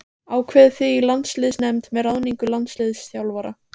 Ákveðið þið í landsliðsnefnd með ráðningu landsliðsþjálfara?